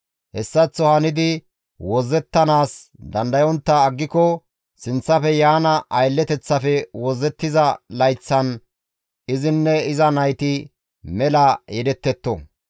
« ‹Hessaththo hanidi wozzettanaas dandayontta aggiko sinththafe yaana aylleteththafe wozzettiza layththan izinne iza nayti mela yedettetto.